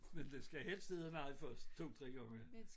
Men den skal helst hedde nej først 2 3 gange